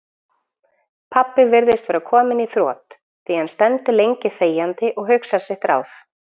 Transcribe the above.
Pabbi virðist vera kominn í þrot, því hann stendur lengi þegjandi og hugsar sitt ráð.